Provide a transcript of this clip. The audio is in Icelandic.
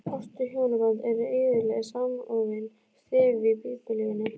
Ást og hjónaband eru iðulega samofin stef í Biblíunni.